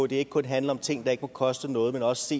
det ikke kun handler om ting der ikke må koste noget men også